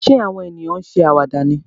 Ṣé àwọn ènìyàn ń ṣe àwàdà ni?